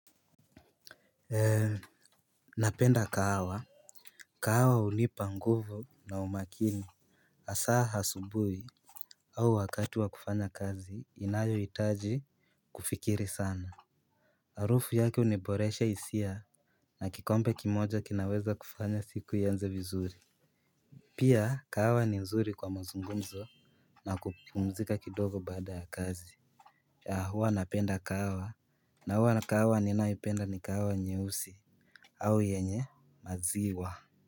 Napenda kahawa. Kahawa hunipa nguvu na umakini. Hasa asubuhi au wakati wa kufanya kazi inayohitaji kufikiri sana. Harufu yake huniboresha hisia na kikombe kimoja kinaweza kufanya siku ianze vizuri. Pia kahawa ni nzuri kwa mazungumzo na kupumzika kidogo baada ya kazi huwa napenda kahawa na huwa kahawa ninaipenda ni kahawa nyeusi au yenye maziwa.